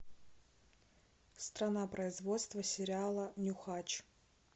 страна производства сериала нюхач